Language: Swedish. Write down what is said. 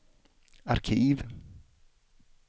arkiv